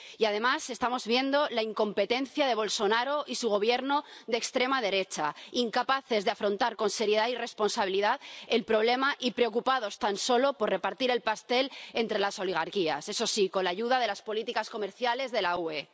Y, además, estamos viendo la incompetencia de Bolsonaro y su Gobierno de extrema derecha, incapaces de afrontar con seriedad y responsabilidad el problema y preocupados tan solo por repartir el pastel entre las oligarquías. Eso sí, con la ayuda de las políticas comerciales de la UE.